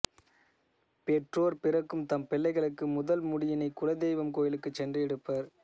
பெற்றோர் பிறக்கும் தம் பிள்ளைகளுக்குமுதல் முடியினைக் குல தெய்வம் கோயிலுக்குச் சென்று எடுப்பர்